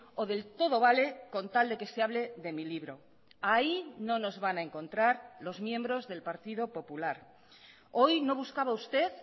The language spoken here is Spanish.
o del todo vale con tal de que se hable de mi libro ahí no nos van a encontrar los miembros del partido popular hoy no buscaba usted